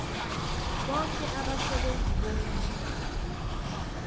boke abasebenzi bombuso